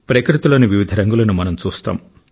ప్రకృతిలోని వివిధ రంగులను మనం చూస్తాం